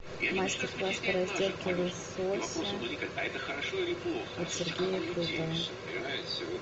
мастер класс по разделке лосося от сергея крутова